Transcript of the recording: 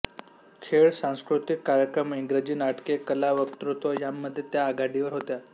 खेळ सांस्कृतिक कार्यक्रम इंग्रजी नाटके कला वक्तृत्व यांमध्ये त्या आघाडीवर होत्या